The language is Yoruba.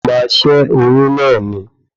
O máa ṣé oyún náà ni